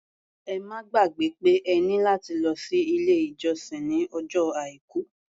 Ẹ má gbàgbẹ́ pé ẹ ní láti lọ sí ilé-ìjọsìn ní ọjọ́ Àìkú.